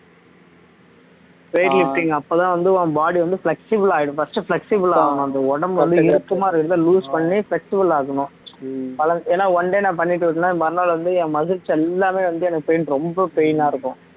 weight lifting அப்பதான் வந்து உன் body வந்து flexible ஆயிடும் first flexible ஆகும் அந்த உடம்பு வந்து இறுக்கமா இருக்கறதை loose பண்ணி flexible ஆக்கணும் ஏன்னா one day நான் பண்ணிட்டு விட்டனா மறுநாள் வந்து என் muscles எல்லாமே வந்து எனக்கு pain ரொம்ப pain ஆ இருக்கும்